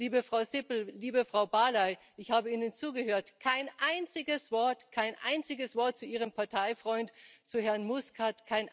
Liebe Frau Sippel, liebe Frau Barley, ich habe Ihnen zugehört kein einziges Wort, kein einziges Wort zu Ihrem Parteifreund, zu Herrn Muscat.